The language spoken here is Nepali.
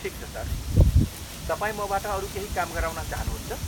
ठिक छ सर, तपाईँ मबाट अरू केही काम गराउन चाहनुहुन्छ?